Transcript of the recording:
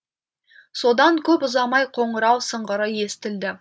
содан көп ұзамай қоңырау сыңғыры естілді